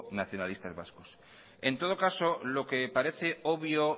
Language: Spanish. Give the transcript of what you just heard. nacionalistas vascos en todo caso lo que parece obvio